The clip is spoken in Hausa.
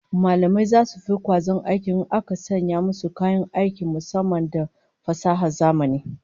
Mallamai zasu fi kwazon aiki in aka sanya musu kayan aiki musamman da na fasahar zamani